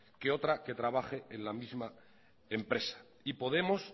que otra que trabaja en la misma empresa y podemos